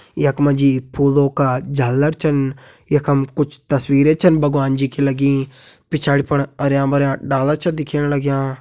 यख मा जी फूलों का झालर छन यखम कुछ तस्वीर छन भगवाना जी की लगीं पिछाड़ी फण हरयां भरयां डाला छन दिखेण लग्यां।